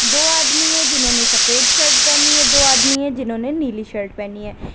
दो आदमी है जिन्होंने सफेद शर्ट पहनी है दो आदमी है जिन्होंने नीली शर्ट पहनी है।